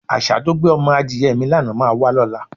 Às̩á tó gbé o̩mo̩ adìye̩ mi lánàá máa wá ló̩la.